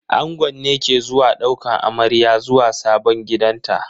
Angon ne ke zuwa daukan amarya zuwa sabon gidanta.